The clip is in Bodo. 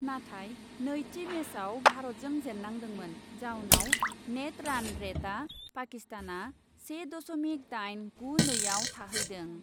नाथाय नैथि मेचआव भारतजों जेन्नांदोंमोन। जाउनाव नेट रान रेटआव पाकिस्तानआ से दशमिक दाइन गु नैआव थाहैदों।